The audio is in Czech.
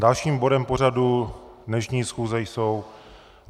Dalším bodem pořadu dnešní schůze jsou